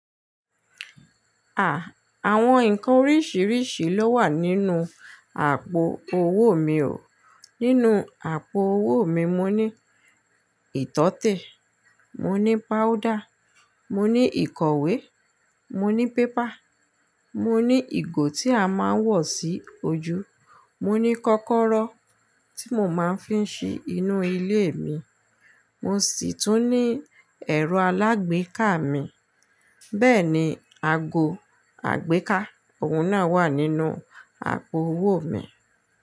À, àwọn nǹkan oríṣiríṣi ló wà nínú àpò owó mi o. Nínú àpò owó mi, mo ní ìtọ́tè, mo ní páúdà, mo ní ìkọ̀wé, mo ní pépà, mo ní ìgò tí a máa ń wọ̀ sí ojú, mo ní kọ́kọ́rọ́ tí mo máa ń fi ń ṣí inú ilé mi, mo sì tún ní ẹ̀rọ alágbèéká mi. Bẹ́ẹ̀ ni ago àgbéká, òun náà wà nínú àpò owó mi.